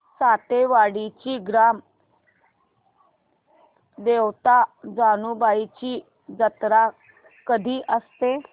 सातेवाडीची ग्राम देवता जानुबाईची जत्रा कधी असते